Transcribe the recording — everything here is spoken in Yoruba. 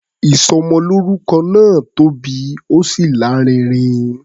Ìsọmọlórúkọ náà tóbi, ó sì lárinrin.